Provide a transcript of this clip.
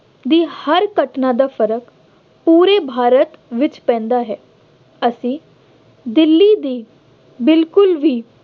ਦੀ ਹਰ ਘਟਨਾ ਦਾ ਫਰਕ ਪੂਰੇ ਭਾਰਤ ਵਿੱਚ ਪੈਂਦਾ ਹੈ ਅਤੇ ਦਿੱਲੀ ਦੀ ਬਿਲਕੁੱਲ ਵੀ